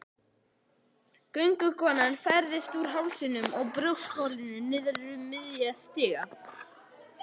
Göngukonan færðist úr hálsinum og brjóstholinu niður um sig miðja.